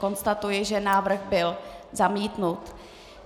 Konstatuji, že návrh byl zamítnut.